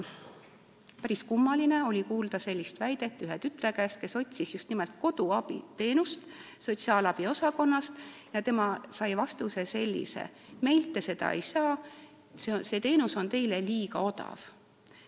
Päris kummaline oli kuulda ühe tütre käest, kes otsis just nimelt koduabiteenust sotsiaalabi osakonnast, et ta sai sellise vastuse: meilt te seda teenust ei saa, see teenus on teile liiga odav.